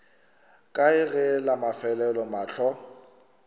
kae ge la mafelelo mahlo